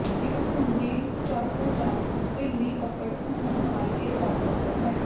ਇੱਕ ਖੁੰਢੀ ਚਾਕੂ ਜਾਂ ਢਿੱਲੀ ਪਕੜ ਹੋਣ ਨਾਲ ਇਹ ਵਾਪਰਦਾ ਹੈ